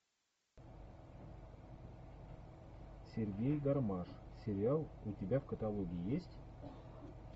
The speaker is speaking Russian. сергей гармаш сериал у тебя в каталоге есть